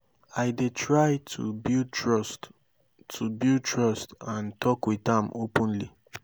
i dey try to build trust to build trust and talk with am openly.